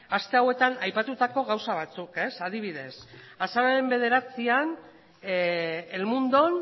aste hauetan aipatutako gauza batzuk adibidez azaroaren bederatzian el mundon